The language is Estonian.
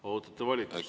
Ootate volitust.